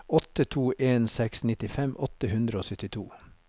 åtte to en seks nittifem åtte hundre og syttito